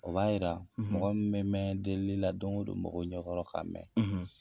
O b'a jirara mɔgɔ bɛ mɛn delili la don o don mɔgɔ ka mɛn .